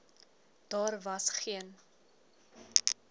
daar was geen